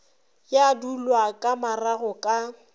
ya dulwa ka marago ka